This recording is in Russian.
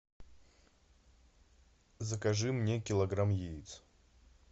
закажи мне килограмм яиц